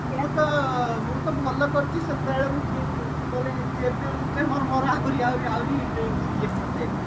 ମୁଁ ତ ମୁଁ ତ ଭଲ କରିଛି ସେତେବେଳେ ମୁଁ କିଣି ଦେଇଛି ନହେଲେ ଏବେ ଏବେ ମୋର ଆହୁରି ଆହୁରି ଇଏ ପଡିଯାଇଥାନ୍ତା